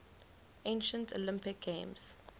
ancient olympic games